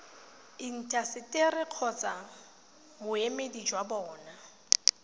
intaseteri kgotsa boemedi jwa bona